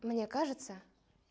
мне кажется